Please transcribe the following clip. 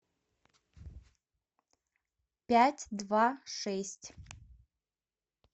пять два шесть